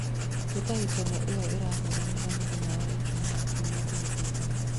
Hĩtahĩtano ĩyo ĩrahũranirwo mũthenya wa ijumaa kiumia kĩhetũku